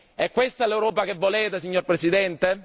È questa l'Europa che volete, signor Presidente?